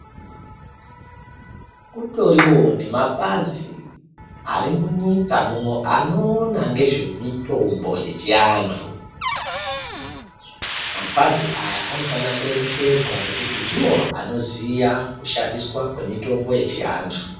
Kutoriwo nepazi, ari munyika muno, anoona ngezvemitombo yechivantu. Mapazi aya anofana kuremekedzwa ngekuti ndiwo anoziya, kushandiswa kwemitombo yechivantu.